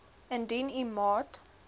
indien u maat